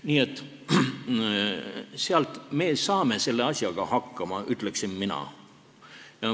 Nii et me saame selle asjaga hakkama, ütleksin mina.